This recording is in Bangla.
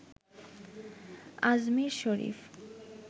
আজমির শরীফ